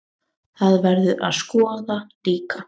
Það verður að skoða líka.